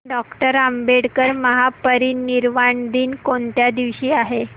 doctor Ambedkar Mahaparinirvan दिन कोणत्या दिवशी आहे